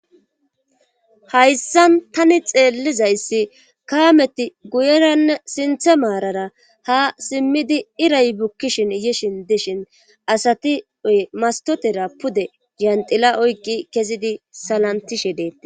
Hayssan tani xeellizayssi kaameti guyeranne sinthe maarara ha simmidi iray bukkishin yishin dishin asati oy mastotera pude yanxila oykki kezidi salantishe deeta.